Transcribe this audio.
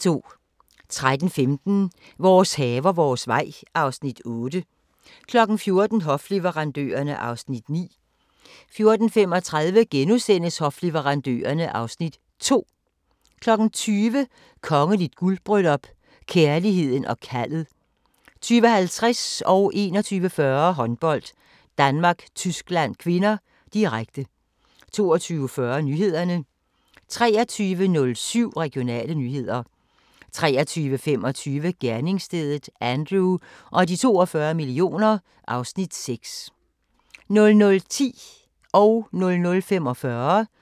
13:15: Vores haver, vores vej (Afs. 8) 14:00: Hofleverandørerne (Afs. 9) 14:35: Hofleverandørerne (Afs. 2)* 20:00: Kongeligt guldbryllup - kærligheden og kaldet 20:50: Håndbold: Danmark-Tyskland (k), direkte 21:40: Håndbold: Danmark-Tyskland (k), direkte 22:40: Nyhederne 23:07: Regionale nyheder 23:25: Gerningsstedet – Andrew og de 42 millioner (Afs. 6) 00:10: Station 2: Politirapporten